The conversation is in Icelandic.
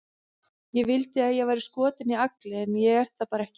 Ég vildi að ég væri skotin í Agli, en ég er það bara ekki.